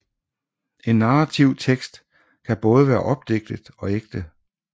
En narrativ tekst kan både være opdigtet og ægte